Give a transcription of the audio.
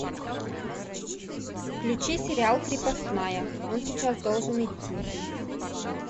включи сериал крепостная он сейчас должен идти